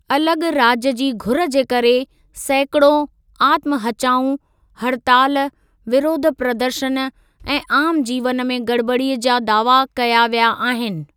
अलॻ राज्य जी घुर जे करे सैकिड़ों आत्महचाऊं, हड़ताल, विरोध प्रदर्शन ऐं आम जीवन में गड़बड़ीअ जा दावा कया विया आहिनि।